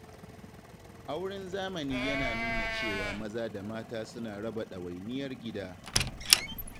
Auren zamani yana nuna cewa maza da mata suna raba ɗawainiyar gida.